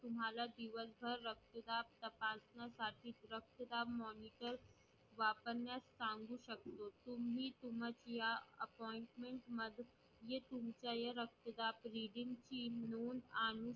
तुम्हाला दिवसभर रक्तदाब तपासण्यासाठी रक्तदाब monitor वापरण्यास सांगू शकतो, तुम्ही तुमच्या या reading ची नोंद आणू शकता